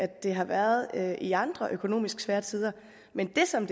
det har været det i andre økonomisk svære tider men det som